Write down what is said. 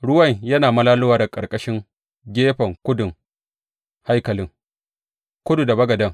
Ruwan yana malalowa daga ƙarƙashin gefen kudun haikalin, kudu da bagaden.